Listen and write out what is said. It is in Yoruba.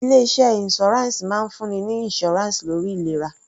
Ilé iṣẹ́ insurance máa ń fún ni ní insurance lórí ìlera.